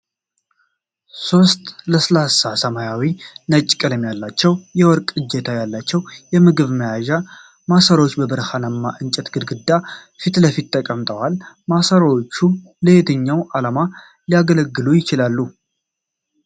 ሦስት ለስላሳ ሰማያዊና ነጭ ቀለም ያላቸው፣ የወርቅ እጀታ ያላቸው የምግብ መያዣ ማሰሮዎች በብርሃናማ የእንጨት ግድግዳ ፊት ለፊት ተቀምጠዋል። ማሰሮዎቹ ለየትኛው ዓላማ ሊያገለግሉ ይችላሉ?